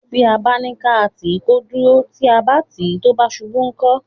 Tí a bá ní ká tì í kó dúró; tí a bá tì í tó bá ṣubú, ńkọ́?